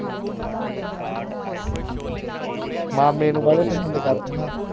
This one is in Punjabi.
ਮਾਮੇ ਨੂੰ ਬਾਲਾ ਪਸੰਦ ਕਰਦੇ ਆ ਨਾ